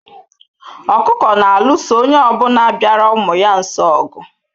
Okuku na-alụso onye ọbụna bịara ụmụ ya nso ogu